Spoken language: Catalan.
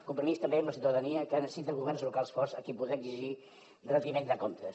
compromís també amb la ciutadania que ara necessita governs locals forts a qui poder exigir retiment de comptes